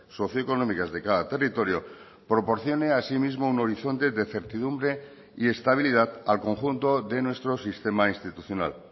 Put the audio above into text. socio económicas de cada territorio proporcione asimismo un horizonte de certidumbre y estabilidad al conjunto de nuestro sistema institucional